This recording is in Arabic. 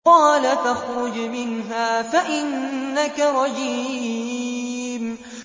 قَالَ فَاخْرُجْ مِنْهَا فَإِنَّكَ رَجِيمٌ